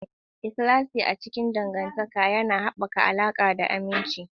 Ikhlasi a cikin dangantaka yana haɓaka alaƙa da aminci.